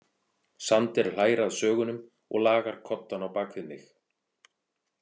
Sander hlær að sögunum og lagar koddana á bak við mig.